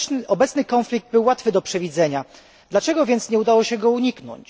Obecny konflikt był łatwy do przewidzenia, dlaczego więc nie udało się go uniknąć?